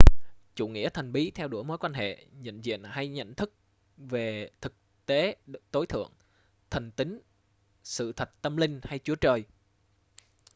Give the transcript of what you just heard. chủ nghĩa thần bí theo đuổi mối quan hệ nhận diện hay nhận thức về thực tế tối thượng thần tính sự thật tâm linh hay chúa trời